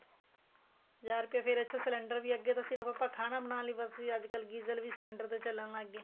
ਹਜ਼ਾਰ ਰੁਪਇਆ ਫ਼ੇਰ cylinder ਵੀ ਅੱਗੇ ਤੋ ਸਿਰਫ਼ ਆਪਾਂ ਖਾਣਾ ਬਣਾਉਣ ਲਈ ਵਰਤੀ ਅੱਜਕਲ deeper ਵੀ cylinder ਚੱਲਣ ਲੱਗ ਗਏ